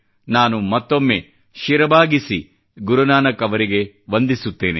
ನಾನು ಮತ್ತೊಮ್ಮೆ ಶಿರಬಾಗಿಸಿ ಗುರುನಾನಕ್ ಅವರಿಗೆ ವಂದಿಸುತ್ತೇನೆ